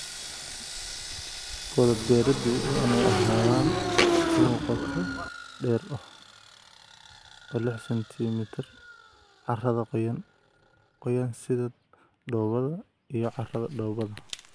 Godad beeriddu waa inay ahaadaan kuwo qoto dheer oo ah 6cm carrada qoyan/qoyan sida dhoobada iyo carrada dhoobada.